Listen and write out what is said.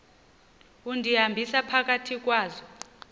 undihambisa phakathi kwazo